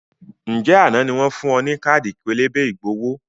Ǹjẹ́ àná ni wọn fun ọ ní káàdì pélébé ìgbowó?